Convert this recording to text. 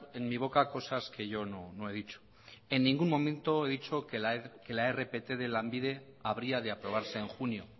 en mi boca cosas que yo no he dicho en ningún momento he dicho que la rpt de lanbide habría de aprobarse en junio